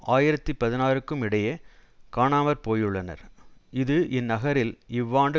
ஆயிரத்தி பதினாறுக்கும் இடேயே காணாமற் போயுள்ளனர் இது இந்நகரில் இவ்வாண்டு